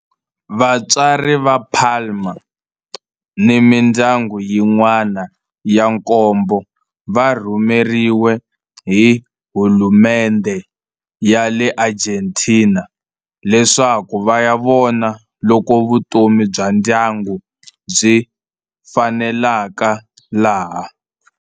Vatswari va Palma ni mindyangu yin'wana ya nkombo va rhumeriwe hi hulumendhe ya le Argentina leswaku va ya vona loko vutomi bya ndyangu byi faneleka laha.